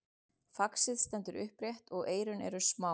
faxið stendur upprétt og eyrun eru smá